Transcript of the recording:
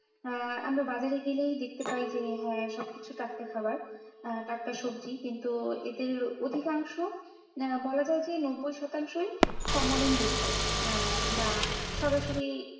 আহ আমরা বাজারে গেলেই দেখতে পাই যে হ্যাঁ সবকিছু টাটকা খাওয়ার আহ টাটকা সবজি কিন্তু এদের অধিকাংশ বলা যায় যে নব্বই শতাংশই ফর্মালিন যুক্ত আহ বা সরাসরি,